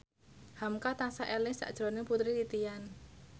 hamka tansah eling sakjroning Putri Titian